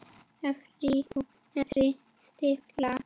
Efri og neðri stífla.